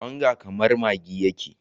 Onga kamar maggi yake.